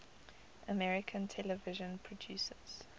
american television producers